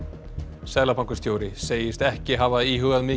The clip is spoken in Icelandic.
seðlabankastjóri segist ekki hafa íhugað mikið